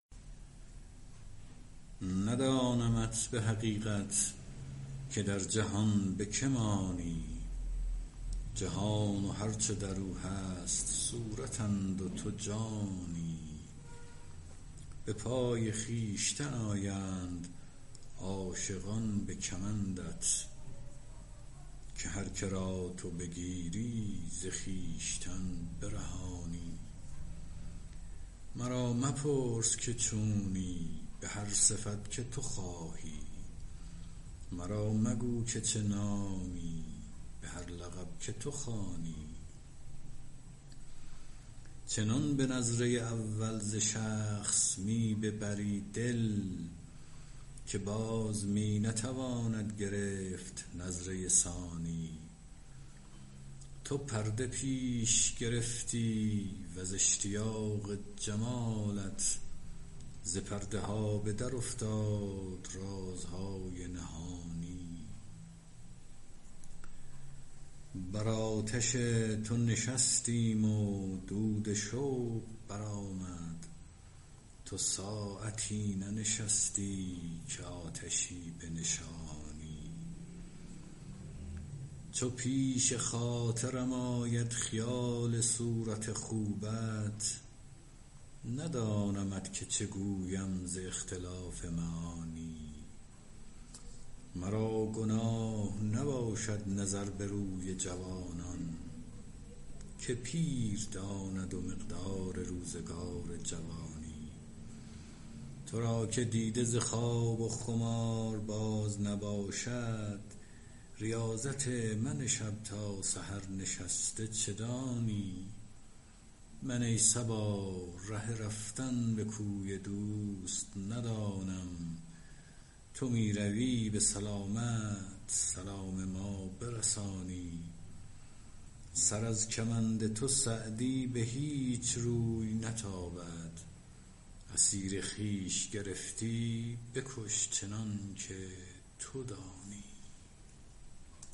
ندانمت به حقیقت که در جهان به که مانی جهان و هر چه در او هست صورتند و تو جانی به پای خویشتن آیند عاشقان به کمندت که هر که را تو بگیری ز خویشتن برهانی مرا مپرس که چونی به هر صفت که تو خواهی مرا مگو که چه نامی به هر لقب که تو خوانی چنان به نظره اول ز شخص می ببری دل که باز می نتواند گرفت نظره ثانی تو پرده پیش گرفتی و ز اشتیاق جمالت ز پرده ها به درافتاد رازهای نهانی بر آتش تو نشستیم و دود شوق برآمد تو ساعتی ننشستی که آتشی بنشانی چو پیش خاطرم آید خیال صورت خوبت ندانمت که چه گویم ز اختلاف معانی مرا گناه نباشد نظر به روی جوانان که پیر داند مقدار روزگار جوانی تو را که دیده ز خواب و خمار باز نباشد ریاضت من شب تا سحر نشسته چه دانی من ای صبا ره رفتن به کوی دوست ندانم تو می روی به سلامت سلام من برسانی سر از کمند تو سعدی به هیچ روی نتابد اسیر خویش گرفتی بکش چنان که تو دانی